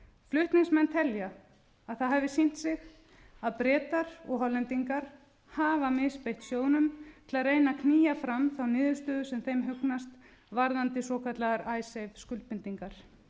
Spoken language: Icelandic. flutningsmenn telja að það hafi sýnt sig að bretar og hollendingar hafa misbeitt sjóðnum til að reyna að knýja fram þá niðurstöðu sem þeim hugnast varðandi svokallaðar icesave skuldbindingar